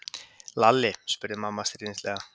Lalli? spurði mamma stríðnislega.